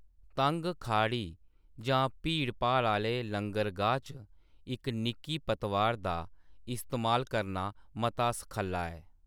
तंग खाड़ी जां भीड़भाड़ आह्‌ले लंगरगाह च इक निक्की पतवार दा इस्तेमाल करना मता सखल्ला ऐ ।